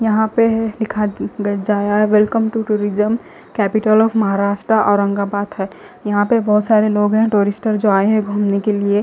यहा पे है एक आदमी घर जा रहा है welcome to tourism capital of Maharashtra Aurangabad है यहा पे बहोत सारे लोग है टूरिस्ट आये है गुमने के लिए--